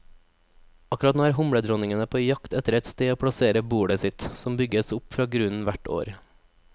Akkurat nå er humledronningene på jakt etter et sted å plassere bolet sitt, som bygges opp fra grunnen hvert år.